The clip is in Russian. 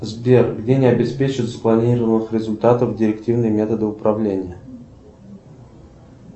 сбер где мне обеспечат спланированных результатов директивных методов управления